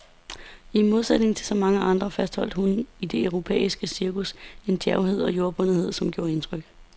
I modsætning til så mange andre fastholdt hun i det europæiske cirkus en djærvhed og jordbundethed, som gjorde indtryk.